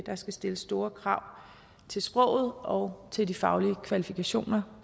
der skal stilles store krav til sproget og til de faglige kvalifikationer